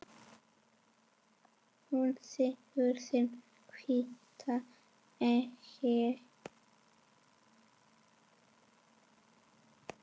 Hún sýgur sinn hvíta eitur